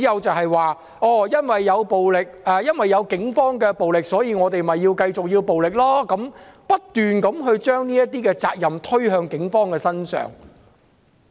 他們表示，因為警方使用暴力，所以示威者繼續反抗，不斷將責任推向警方。